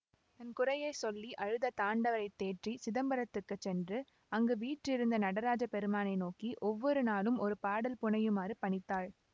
தன் குறையை சொல்லி அழுத தாண்டவரைத் தேற்றி சிதம்பரத்துக்குச் சென்று அங்கு வீற்றிருந்த நடராஜப் பெருமானை நோக்கி ஒவ்வொரு நாளும் ஒரு பாடல் புனையுமாறு பணித்தாள்